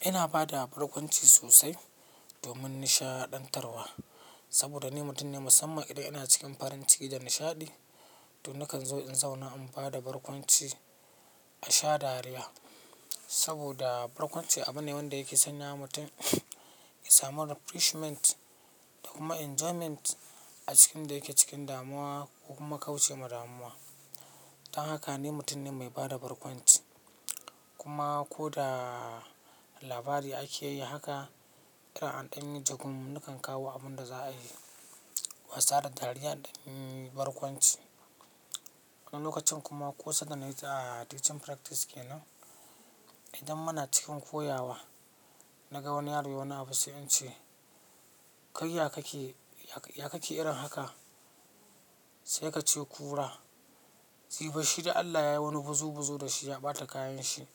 Ina ba da barkwanci sosai domin nishaɗantarwa. Saboda ni mutum ne musamman idan ina cikin farin ciki da nishaɗi, to nakan zo in zauna in ba da barkwanci a sha dariya. Saboda barkwanci abu ne wanda yake sanya mutum ya samu refreshment da kuma enjoyment a cikin da yake cikin damuwa ko kuma kauce ma damuwa. Don haka ni mutum ne mai ba da barkwanci. Kuma ko da labari ake yi haka, irin an danyi jagun nakan kawo abin da za a yi, wasa da dariya in danyi barkwanci. Na lokacin kuma kosanda na yi a teaching practice kenan, idan muna cikin koyawa, na ga wani yaro yayi wani abu sai in ce, "Kai ya kake, ya kake irin haka?" Sai ka ce kura, ji bashshi da Allah yayi wani buzu buzu da shi ya ɓata kayan shi.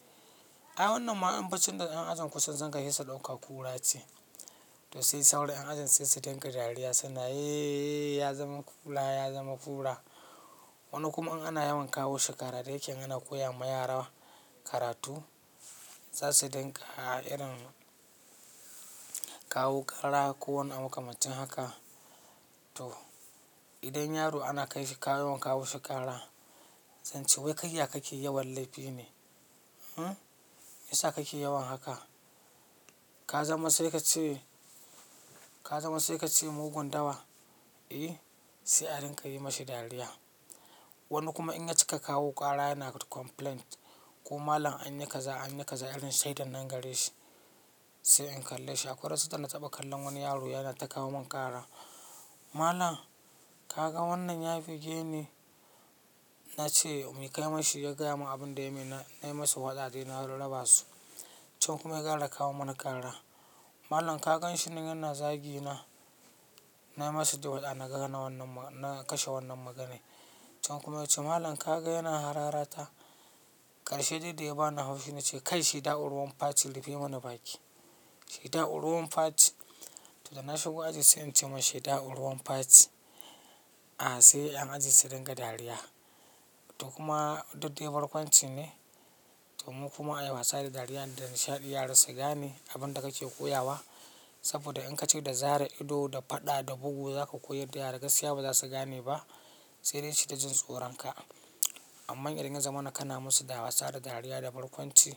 Ai wannan ma in baccin da yan ajinku sun sanka sai su ɗauka kura ce. To sai sauran yan ajin sai su dinga dariya suna, "yeeye, ya zama kura, ya zama kura." Wani kuma in ana yawan kawo shi ƙara da yake in ana koya ma yara karatu, za su dinga irin kawo ƙara ko wani abu makamarncin haka. To idan yaro ana kai shi ka yawan kawo shi ƙara, zan ce, "Wai kai ya kake yawan laifi ne? Hm? Me yasa kake yawan haka? Ka zama sai ka ce, ka zama sai ka ce mugun dawa?" Eh, sai a ringa yi ma shi dariya. Wani kuma in ya cika kawo ƙara yana complaint ko malam an yi kaza, an yi kaza irin shaidan nan gare shi, sai in kalle shi. Akwai wasu da na taɓa kallon wani yaro yana ta kawo min ƙara. "Malam, ka ga wannan ya buge ni?" Na ce mu yi kai ma shi ya gaya mun abin da ya yi min. Na yi masa waazi, na raba su. Can kuma ya ƙara da kawo mana ƙara. "Malam ka gan shi yanna zagi na?" Na yi masa da waɗa na kashe wannan maganai. Can kuma ya ce, "Malam ka ga yana harara ta?" Karshe dai da ya bani haushi na ce, "Kai shaida'u ruwan faci rufe mana baki. Shaida ruwan faci." To da na shigo aji sai in ce masa, "Shaida'u ruwan faci." A sai yan ajin su dinga dariya. To kuma duk dai barkwanci ne domin kuma a yi wasa da dariya da nishaɗi yara su gane abin da kake koyawa. Saboda in ka ce da zare ido da faɗa da bugu za ka koyar da yara, gaskiya ba za su gane ba sai dai su ta jin tsoron ka. Amma idan ya zama na kan na musu da wasa da dariya da barkwanci,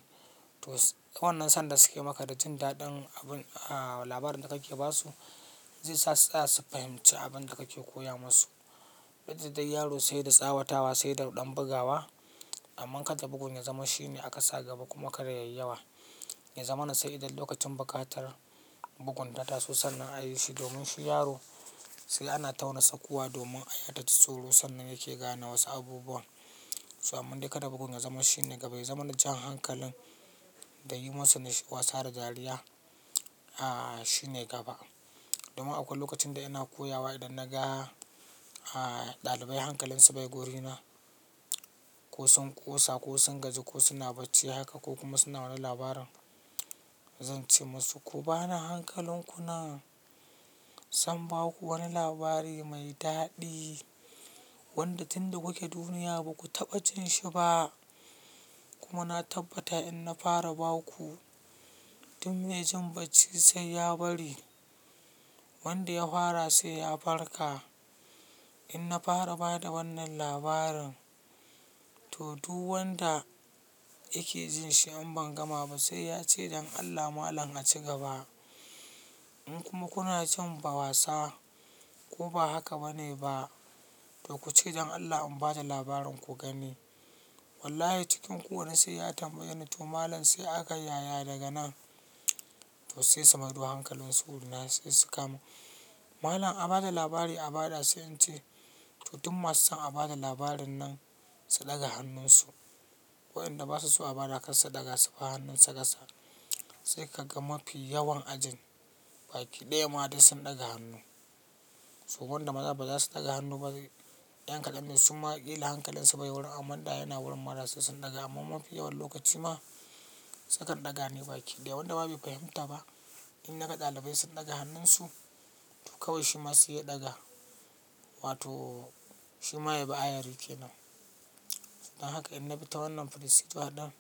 to wannan son da suke maka da jin daɗin abun, ah labarin da kake ba su, zai sa su tsaya su fahimci abin da kake koya masu. Duk da dai yaro sai da tsawatawa sai da ɗan bugawa. Amma kada bugun ya zama shi ne aka sa gaba kuma kar yayi yawa. Ya zama na sai idan lokacin bukatar bugun ta taso sannan ayi shi domin shi yaro sai ana tauna tsakuwa domin aya ta ji tsoro sannan yake gane wasu abubuwan. So amma dai kada bugun ya zama shi ne gaba. Ya zama jan hankalin da yi masa na wasa da dariya, a shi ne gaba. Domin akwai lokacin da ina koya wa idan na ga ɗalibai hankalinsu bai guri na ko sun kosa ko sun gaji ko suna bacci haka ko kuma suna wani labarin, zan ce masu, "Ku bani hankalinku nan, zan ba ku wani labari mai daɗi wanda tun da kuke duniya ba ku taɓa jin shi ba. Kuma na tabbata in na fara ba ku, duk mai jin bacci sai ya bari. Wanda ya fara sai ya barka. In na fara ba da wannan labarin, to duk wanda yake jin shi ain ban gama ba sai ya ce don Allah malam a ci gaba. In kuma kuna cin ba wasa ko ba haka bane ba, to ku ce don Allah in bada labarin ku gani. Wallahi cikin ku wani sai ya tambaye ni to malam sai aka yi yaya daga nan, to sai su maido da hankalinsu wurina sai su kamu. Malam a bada labari a bada sai in ce, to duk masu son a bada labarin nan su ɗaga hannunsu. Waɗanda ba su so a bada kar su daga su bar hannunsa ƙasa. Sai ka ga mafi yawan ajin baki ɗaya ma dai sun ɗaga hannu. To wanda ma za ka ga ba za su ɗaga hannu ba. Ƴan ƙaɗan ne suma kila hankalinsu bai wurin amma da yana wurin ma da sai sun ɗaga amma mafi yawan lokaci ma su kan ɗaga ne baki ɗaya wanda ma bai fahimta ba in ya ga ɗalibai sun ɗaga hannunsu to kawai shi ma sai ya ɗaga wato shi ma ya bi ayari kenan. Don haka in na bi ta wannan frisuduwa din.